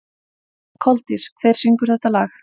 Koldís, hver syngur þetta lag?